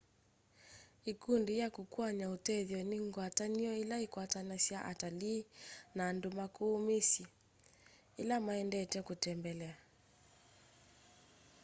ikundi ya kukuany'a utethyo ni ngwatanio ila ikwatanasya atalii na andu maku misyi ila maendete kutembelea